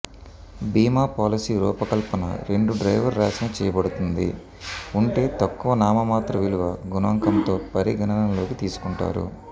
బీమా పాలసీ రూపకల్పన రెండు డ్రైవర్ వ్రాసిన చేయబడుతుంది ఉంటే తక్కువ నామమాత్ర విలువ గుణకం తో పరిగణనలోకి తీసుకుంటారు